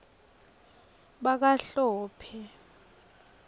bakahlophe